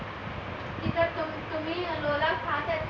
की तुम्ही मला खात आहेत ना